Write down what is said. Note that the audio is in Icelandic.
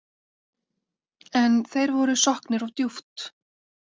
En þeir voru sokknir of djúpt.